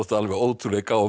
ótrúlegir